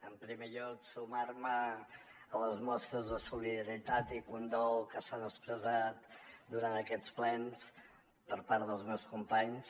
en primer lloc sumarme a les mostres de solidaritat i condol que s’han expressat durant aquests plens per part dels meus companys